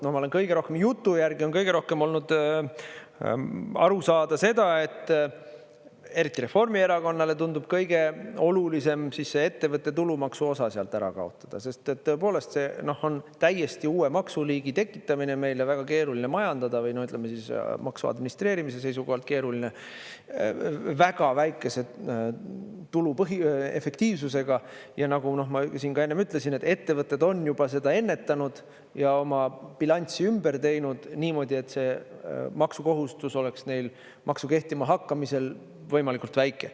Ma olen kõige rohkem, jutu järgi on kõige rohkem olnud aru saada seda, et eriti Reformierakonnale tundub kõige olulisem see ettevõtte tulumaksu osa sealt ära kaotada, sest tõepoolest, see on täiesti uue maksuliigi tekitamine meile, väga keeruline majandada või, ütleme siis, maksu administreerimise seisukohalt keeruline, väga väikese tuluefektiivsusega ja nagu ma ka enne ütlesin, et ettevõtted on juba seda ennetanud ja oma bilanssi ümber teinud niimoodi, et see maksukohustus oleks neil maksu kehtimahakkamisel võimalikult väike.